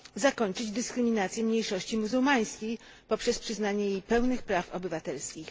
zakończyć dyskryminację mniejszości muzułmańskiej poprzez przyznanie jej pełni praw obywatelskich.